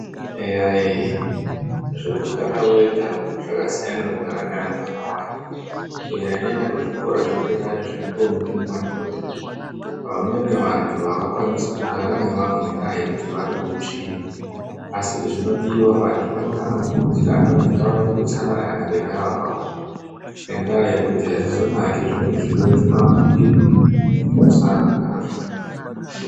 Eya ye Zvekugara wega zvakasiyana nekugara ne vantu akawanda kunyanya nyanya kuzvikora zvedenaya zventombi nemadhodha Vamweni vantu avakwanisi kugara nevamwe nendeya yekut vane hutsvina asi kut zvinodiwa vantu anofanira kukurudzirana ngavaite utsanana kana veigara vakawanda nendeya yekut hazvizonake nekut zvimweni zvirwere zvinovapfukira mukusagara zvakanaka nevamwe.